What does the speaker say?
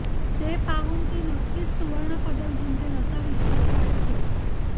ते पाहून ती नक्कीच सुवर्ण पदक जिंकेल असा विश्वास वाटतो